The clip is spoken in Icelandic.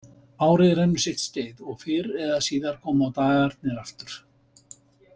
Árið rennur sitt skeið og fyrr eða síðar koma dagarnir aftur.